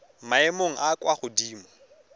maemong a a kwa godimo